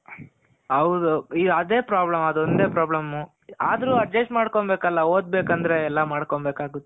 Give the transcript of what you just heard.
ಹೌದು ಅದು problem ಅದು ಒಂದೇ problem. ಆದ್ರು adjust ಮಾಡ್ಕೊಮ್ಬೇಕಲ ಓದ್ಬೇಕು ಅಂದ್ರೆ ಎಲ್ಲಾ ಮಾಡ್ಕೊಮ್ಬೇಕಾಗುತ್ತೆ.